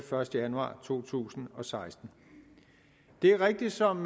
første januar to tusind og seksten det er rigtigt som